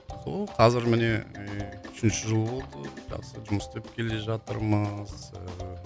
сол қазір міне ііі үшінші жыл болды жақсы жұмыс істеп келе жатырмыз ыыы